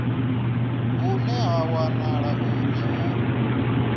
hune ha wanala uri hu